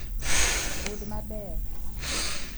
Rud maber